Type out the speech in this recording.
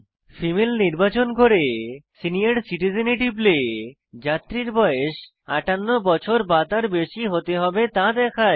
female নির্বাচন করে senior citizen এ টিপলে যাত্রীর বয়স 58 বছর বা তার বেশী হতে হবে তা দেখায়